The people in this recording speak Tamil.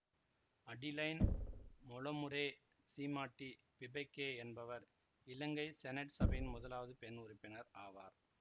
அடிலைன் மொலமுறே சீமாட்டி பிபேக என்பவர் இலங்கை செனட் சபையின் முதலாவது பெண் உறுப்பினர் ஆவார்